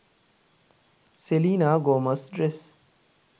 selena gomez dress